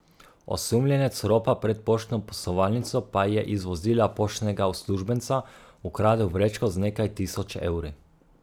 Osumljenec ropa pred poštno poslovalnico pa je iz vozila poštnega uslužbenca ukradel vrečko z nekaj tisoč evri.